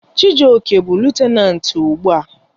Chijioke bụ lutenanti ugbu a.